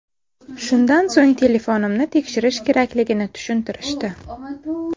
Shundan so‘ng telefonimni tekshirish kerakligini tushuntirishdi.